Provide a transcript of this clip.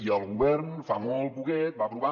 i el govern fa molt poquet va aprovar